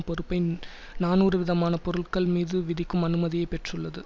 பொறுப்பை நாநூறு விதமான பொருட்கள் மீது விதிக்கும் அனுமதியைப் பெற்றுள்ளது